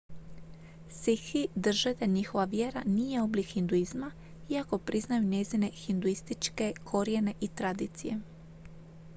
sikhi drže da njihova vjera nije oblik hinduizma iako priznaju njezine hinduističke korijene i tradicije